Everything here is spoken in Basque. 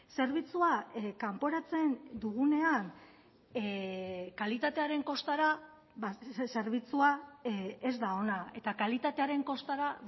zerbitzua kanporatzen dugunean kalitatearen kostara zerbitzua ez da ona eta kalitatearen kostara